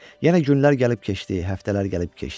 Yenə günlər gəlib keçdi, həftələr gəlib keçdi.